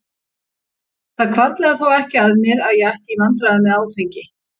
Það hvarflaði þó ekki að mér að ég ætti í vandræðum með áfengi.